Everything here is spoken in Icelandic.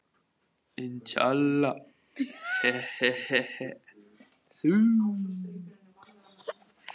Látiði Össur-Mömmu sjá um þessa karla.